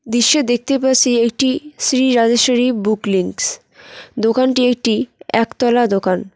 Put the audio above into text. দৃশ্যে দেখতে পাসসি একটি শ্রী রাজেশ্বরী বুক লিংকস দোকানটি একটি একতলা দোকান।